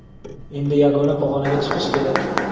Endi yangi pag‘onaga chiqish kerak.